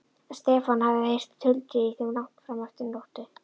Stefán hafði heyrt tuldrið í þeim langt fram eftir nóttu.